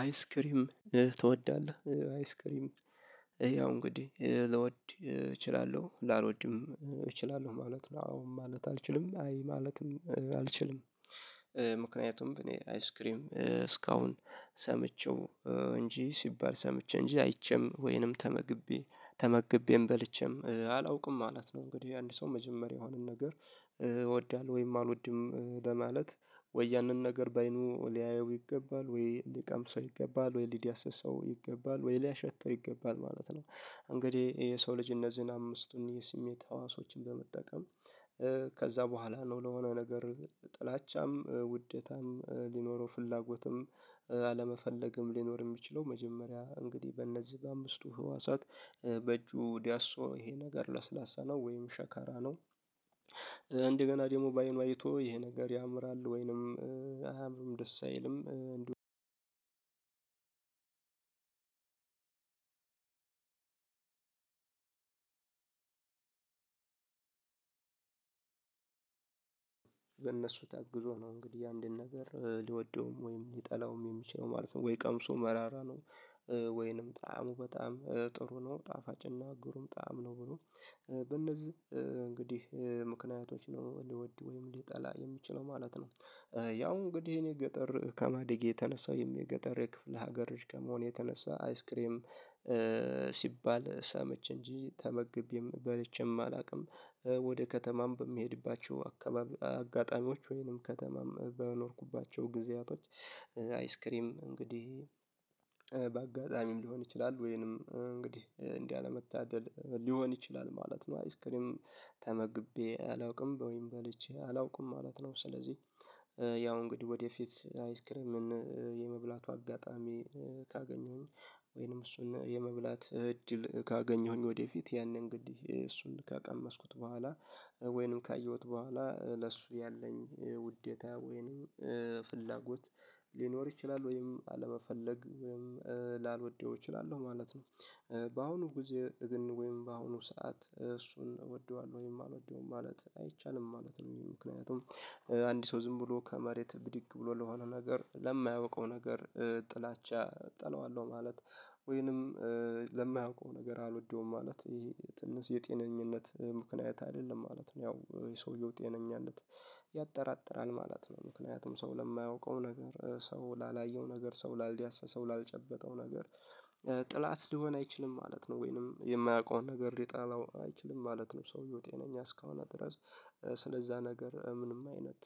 አይስክሪም ትወዳለህ አይስክሪም ያው እንግዲህ ልወድ እችላለሁ ላልወድም እችላለሁ ማለት ነው አዎ ማለት አልችልም አይ ማለትም አልችልም። ምክንያቱም በእኔ አይስክሬም እስካሁን ሰምቼው እንጂ ሲባል ሰምቼ እንጂ አይቼም ወይንም ተመግቤ ተመግቤም በልቼም አላውቅም ማለት ነው። እንግዲህ አንድ ሰው መጀመሪያውን ነገር እወዳለሁ ወይም አልወድም ለማለት ወይ ያንን ነገር በአይኑ ሊያየው ይገባል ወይ ሊቀምሰው ይገባል ወይ ሊዲያሰሰው ይገባል ወይ ሊያሸተው ይገባል ማለት ነው። እንግዲህ የሰው ልጅ እነዚህን አምስቱን የስሜት ህዋሶችን በመጠቀም ከዛ በኋላ ነው ለሆነ ነገር ጥላቻም ውዴታም ሊኖረው ፍላጎትም አለመፈለግም ሊኖር የሚችለው። መጀመሪያ እንግዲህ በእነዚህ በአምስቱ ህዋሳት በእጁ ዲያሶ ይሄ ነገር ለስላሳ ነው ወይም ሸካራ ነው። እንደገና ደግሞ በአይኑ አይቶ ይሄ ነገር ያምራል ወይንም አያምርም ደስ አይልም አንድ። በእነሱ ታግዞ ነው እንግዲህ አንድን ነገር ሊወደውም ወይም ሊጠላውም የሚችለው ማለት ነው። ወይ ቀምሶ መራራ ነው ወይንም ጣዕሙ በጣም ጥሩ ነው ጣፋጭና ጉሩም ጣዕም ነው ብሎ በነዚህ እንግዲህ ምክንያቶች ነው ሊወድ ወይም ሊጠላ የሚችለው ማለት ነው። ያው እንግዲህ እኔ ገጠር ከማደጌ የተነሳው የገጠር የክፍለ ሀገር ከመሆን የተነሳ አይስክሬም ሲባል ሰምቼ እንጂ ተመግቤም በልቼም አላውቅም። ወደ ከተማም በሚሄድባቸው አካባቢ አጋጣሚዎች ወይንም ከተማም በኖርኩባቸው ጊዜያቶች አይስክሪም እንግዲህ በአጋጣሚም ሊሆን ይችላል ወይንም እንግዲህ እንደ አለመታደል ሊሆን ይችላል ማለት ነው። አይስክሪም ተመግቤ አላውቅም ወይም በልቼ አላውቅም ማለት ነው። ስለዚህ ያው እንግዲህ ወደፊት አይስክረምን የመብላቱ አጋጣሚ ካገኘሁኝ ወይንም እሱን የመብላት እድል ካገኘሁኝ ወደፊት ያኔ እንግድህ እሱን ከቀመስኩት በኋላ ወይንም ካየሁት በኋላ ለሱ ያለኝ ውዴታ ወይንም ፍላጎት ሊኖር ይችላል ወይም አለመፈለግ ወይም ላልወደው እችላለሁ ማለት ነው። በአሁኑ ጊዜ ግን ወይም በአሁኑ ሰዓት እሱን እወደዋለሁ ወይም አልወደውም ማለት አይቻልም ማለት ነው። ይሄ ምክንያቱም አንድ ሰው ዝም ብሎ ከመሬት ብድግ ብሎ ለሆነ ነገር ለማያውቀው ነገር ጥላቻ እጠላዋለሁ ማለት ወይንም ለማያውቀው ነገር አልወደውም ማለት ይሄ ትንሽ የጤነኝነት ምክንያት አይደለም ማለት ነው። ያው የሰውየው ጤነኝነት ያጠራጥራል ማለት ነው ምክንያቱም ሰው ለማያውቀው ነገር ሰው ላላየው ነገር ሰው ላልዲያሰሰው ላልጨበጠው ነገር ጥላት ሊሆን አይችልም ማለት ነው። ወይንም የማያውቀውን ነገር ሊጠላው አይችልም ማለት ነው። ሰውዬ ጤነኝ እስከሆነ ድረስ ስለዛ ነገር ምንም አይነት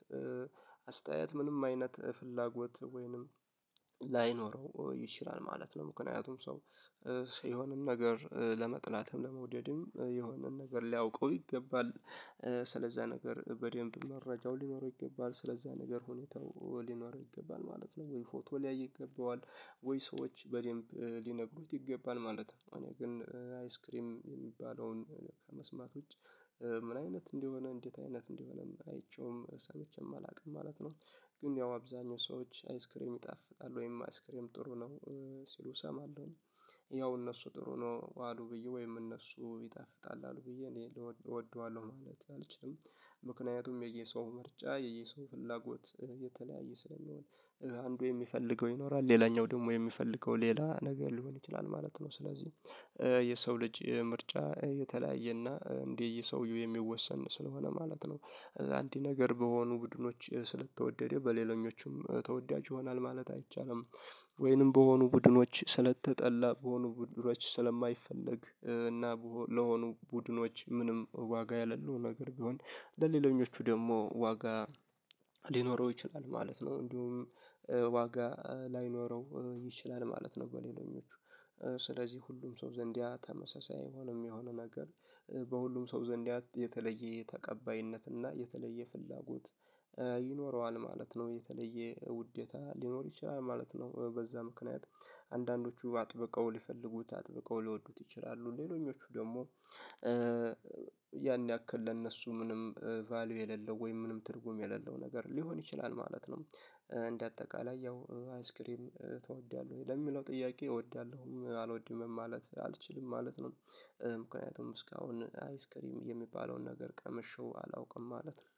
አስተያየት ምንም አይነት ፍላጎት ወይንም ላይኖረው ይችላል ማለት ነው። ምክንያቱም ሰው ሲሆንም ነገር ለመጥላትም ለመውደድም የሆነን ነገር ሊያውቀው ይገባል ስለዛ ነገር በደንብ መረጃው ሊኖረው ይገባል ስለዛ ነገር ሁኔታው ሊኖረው ይገባል ማለት ነው። ወይ ፎቶ ሊያይ ይገባዋል ወይ ሰዎች በደንብ ሊነግሩት ይገባል ማለት ነው። እኔ ግን አይስክሪም የሚባለውን ከመስማት ውጪ ምን አይነት እንደሆነ እንዴት አይነት እንደሆነም አይቼውም ሰምቼም አላውቅም ማለት ነው። ግን ያው አብዛኛው ሰዎች አይስክሪም ይጣፍጣሉ ወይም አይስክሪም ጥሩ ነው። ሲሉ እሰማለሁኝ ያው እነሱ ጥሩ ነው አሉ ብዬ ወይም እነሱ ይጣፍጣል አሉ ብዬ እኔ እወደዋለሁ ማለት አልችልም። ምክንያቱም የየሰው ምርጫ የየሰው ፍላጎት የተለያየ ስለሆነ አንዱ የሚፈልገው ይኖራል ሌላኛው ደግሞ የሚፈልገው ሌላ ነገር ሊሆን ይችላል ማለት ነው። ስለዚህ የሰው ልጅ ምርጫ የተለያየና እንደየሰውየው የሚወሰን ስለሆነ ማለት ነው። አንድ ነገር በሆኑ ቡድኖች ስለተወደደ በሌሎኞቹም ተወዳጅ ይሆናል ማለት አይቻልም። ወይንም በሆኑ ቡድኖች ስለተጠላ በሆኑ ቡድኖች ስለማይፈለግ እና ለሆኑ ቡድኖች ምንም ዋጋ ያለለው ነገር ቢሆን ለሌሎኞቹ ደግሞ ዋጋ ሊኖረው ይችላል ማለት ነው። እንዲሁም ዋጋ ላይኖረው ይችላል ማለት ነው። በሌለኞቹ ስለዚህ ሁሉም ሰው ዘንድ ያ ተመሳሳይ አይሆንም የሚሆነው ነገር በሁሉም ሰው ዘንድ ያ የተለየ ተቀባይነት እና የተለየ ፍላጎት ይኖረዋል ማለት ነው። የተለየ ውዴታ ሊኖር ይችላል ማለት ነው። በዛ ምክንያት አንዳንዶቹ አጥብቀው ሊፈልጉት አጥብቀው ሊወዱት ይችላሉ ሌሎኞቹ ደግሞ ያን ያክል ለእነሱ ምንም ቫልዩ የሌለው ወይም ምንም ትርጉም የሌለው ነገር ሊሆን ይችላል ማለት ነው። እንደ አጠቃላይ ያው አይስክሪም ትወዳለህ ወይ ለሚለው ጥያቄ እወዳለሁም አልወድምም ማለት አልችልም ማለት ነው። ምክንያቱም እስካሁን አይስክሪም የሚባለውን ነገር ቀመሸው አላውቅም ማለት ነው